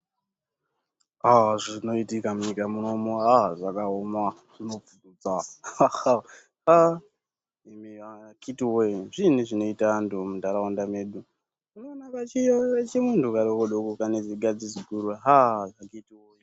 Ah zvinoitika munyika munomu ah zvakaoma, akiti wee zviinyi zvinoita antu muntaraunda medu unoona kachimuntu kadoko doko kane zigadzi ziguru ah.